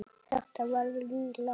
Þetta verður í lagi.